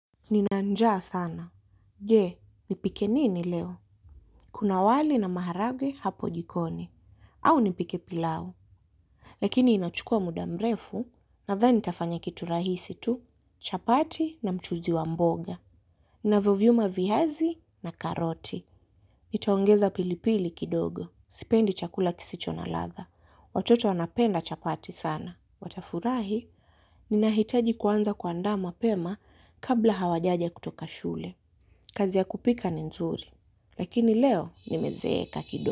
Ninanjaa sana. Je, nipike nini leo? Kuna wali na maharagwe hapo jikoni. Au nipike pilau. Lakini inachukua muda mrefu nadhani nitafanya kitu rahisi tu. Chapati na mchuzi wa mboga. Ninavovyuma viazi na karoti. Nitaongeza pilipili kidogo. Sipendi chakula kisicho na ladha. Watoto wanapenda chapati sana. Watafurahi, ninahitaji kuanza kuanda mapema kabla hawajaja kutoka shule. Kazi ya kupika ni nzuri, lakini leo nimezeeka.